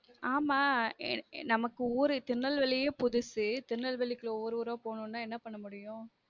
ஆமா ஏன நமக்கு ஊரு திருநெல்வேலியே புதுசு திருநெல்வேலிக்கு ஊரு ஊரா போகனும்னா என்ன பண்ன முடியும்